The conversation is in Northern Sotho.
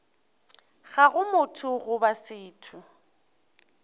ga go motho goba setho